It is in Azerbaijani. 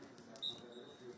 Sən yəni bilirsən ki, sən.